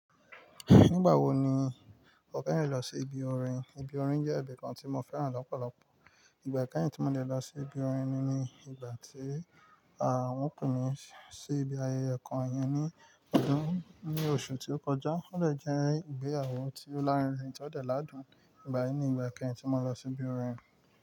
Nígbà wo ni o keyin lọ sí ibi orin? Ibi orin jẹ́ ibìkan tí mo fẹ́ràn lọ́pọ̀lọpọ̀. Ìgbà kẹ́hìn tí mo ti lọ sí ibi orin ni ní ìgbà tí, à, wọ́n pè mi sí ibi ayẹyẹ kan yẹn ní ọdún, ní oṣù tí ó kọjá. Ó de je ìgbéyàwó ti Òlarinrin tí ó dẹ̀ ládùn. Ìgbà yí ni ìgbà kẹ́hìn tí mo lọ sí ibi orin.